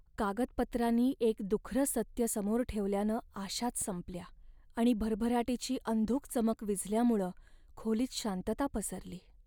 कागदपत्रांनी एक दुखरं सत्य समोर ठेवल्यानं आशाच संपल्या आणि भरभराटीची अंधुक चमक विझल्यामुळं खोलीत शांतता पसरली.